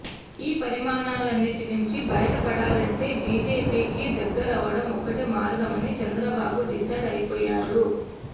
ఈ పరిణామాలన్నిటి నుంచి బయటపడాలంటే బీజీపీకి దగ్గరవ్వడం ఒక్కటే మార్గమని చంద్రబాబు డిసైడ్ అయిపోయాడు